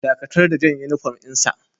Dakatar da jan uniform din sa!